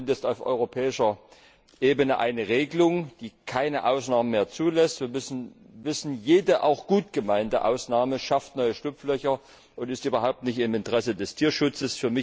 Jetzt haben wir zumindest auf europäischer Ebene eine Regelung, die keine Ausnahmen mehr zulässt. Wir müssen wissen, jede auch gut gemeinte Ausnahme schafft neue Schlupflöcher und ist überhaupt nicht im Interesse des Tierschutzes.